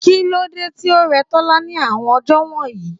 Kílódé tí ó rẹ Tola ní àwọn ọjọ́ wọ̀nyí?